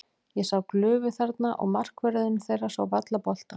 Ég sá glufu þarna og markvörðurinn þeirra sá varla boltann.